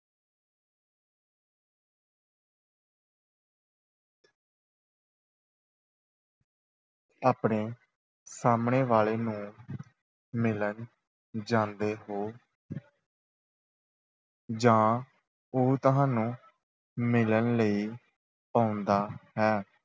ਆਪਣੇ ਸਾਹਮਣੇ ਵਾਲੇ ਨੂੰ ਮਿਲਣ ਜਾਂਦੇ ਹੋ ਜਾਂ ਉਹ ਤੁਹਾਨੂੰ ਮਿਲਣ ਲਈ ਆਉਂਦਾ ਹੈ।